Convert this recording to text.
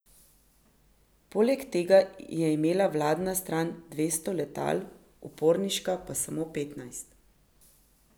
Poleg tega je imela vladna stran dvesto letal, uporniška pa samo petnajst.